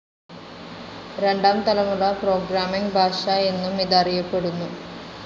രണ്ടാം തലമുറ പ്രോഗ്രാമിങ്‌ ഭാഷ എന്നും ഇത് അറിയപ്പെടുന്നു.